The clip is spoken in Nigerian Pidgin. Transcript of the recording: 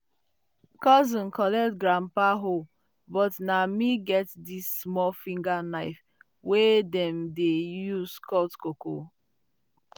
"cousin collect grandpa hoe but na me get di small um finger knife wey dem dey use cut cocoa pod."